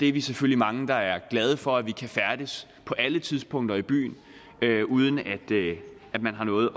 er selvfølgelig mange der er glade for at vi kan færdes på alle tidspunkter i byen uden at man har noget